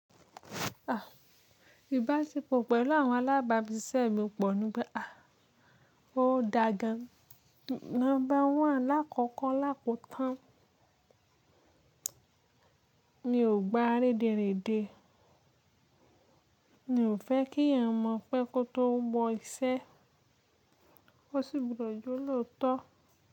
À, ìbáṣepọ̀ pẹ̀lú àwọn alábàágbísẹ̀ mi pọ̀ ní pé à ó da gan. Number one lákọkọ́ làkótán Mi ò gba réderède. Mi ò fẹ́ kí èèyàn mọ̀ pé kó tó mọ iṣẹ́, ó sì gbudọ̀ jẹ́ olóòtọ́.